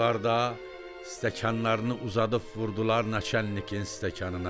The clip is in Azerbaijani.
Qonaqlar da stəkanlarını uzadıb vurdular naçalnikin stəkanına.